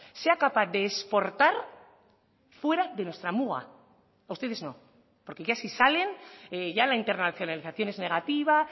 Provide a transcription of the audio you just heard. sea capaz de exportar fuera de nuestra muga a ustedes no porque ya si salen ya la internacionalización es negativa